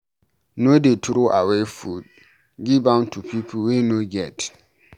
No dey troway food, give am to pipu wey no get.